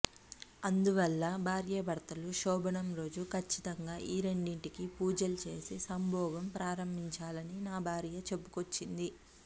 అందువల్ల భార్యాభర్తలు శోభనం రోజు కచ్చితంగా ఈ రెండింటికి పూజలు చేసి సంభోగం ప్రారంభించాలి అని నా భార్య చెప్పుకొచ్చింది